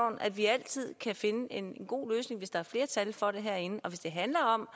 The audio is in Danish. at vi altid kan finde en god løsning hvis der er flertal for det herinde og hvis det handler om